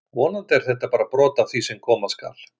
Vonandi er þetta bara brot af því sem koma skal!